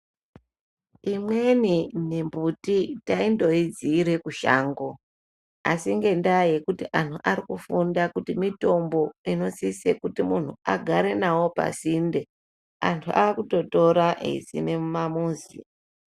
Imweni mimbuti taindoizire kushango asi ngendaa yekuti antu arikufunda kuti mitombo inosise kuti muntu agare nayo pasinde antu akutotora eisime mumamuzi.